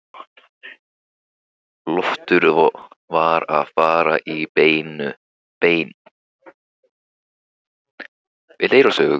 Loftur var að fara í bæinn.